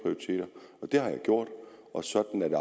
jeg har jeg gjort sådan er det